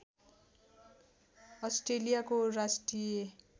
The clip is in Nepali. अस्ट्रेलियाको राष्ट्रिय